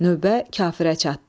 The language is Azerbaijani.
Növbə kafirə çatdı.